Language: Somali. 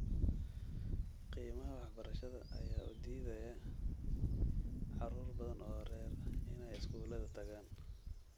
Qiimaha waxbarashada ayaa u diidaya caruur badan oo rer inay iskuulada tagaan.